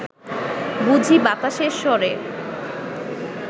বুঝি বাতাসের স্বরে